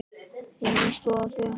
Inni í stofu.